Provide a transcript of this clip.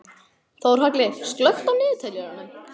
Þórhalli, slökktu á niðurteljaranum.